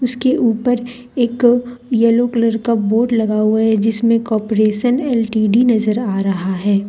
उसके ऊपर एक येलो कलर का बोर्ड लगा हुआ है जिसमें कॉपरेशन एल_टी_डी नजर आ रहा है।